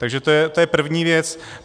Takže to je první věc.